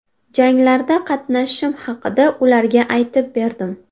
Janglarda qatnashishim haqida ularga aytib berdim.